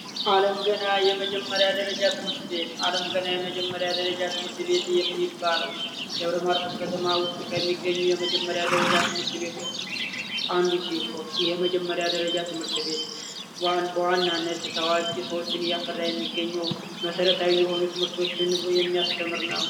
አለም ገና የመጀመሪያ ደረጃ ትምህርት ቤት አለም ገና የመጀመሪያ ደረጃ ትምህርት ቤት የሚባለው ደብረ ማርቆስ ከተማ ውስጥ ከሚገኙ የመጀመሪያ ደረጃ ትምሀርት ቤቶች ውስጥ አንዱ ሲሆን ይህ የመጀመሪያ ደረጃ ትምህርት ቤት በዋናነት ታዋቂ ሰዎችን እያፈራ የሚገኘው መሰረታዊ ትምህርቶችን የሚያስተምር ነው።